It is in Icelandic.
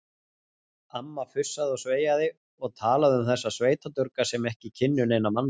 Amma fussaði og sveiaði og talaði um þessa sveitadurga sem ekki kynnu neina mannasiði.